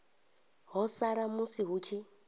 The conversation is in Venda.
ḓo sala musi hu tshi